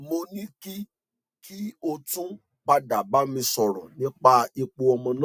mo ní kí kí o tún padà bá mi sọrọ nípa ipò ọmọ náà